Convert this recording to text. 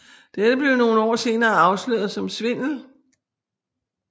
Dette blev nogle år senere afsløret som svindel